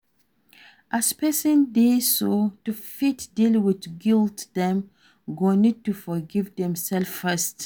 As person dey so, to fit deal with guilt dem go need to forgive dem self first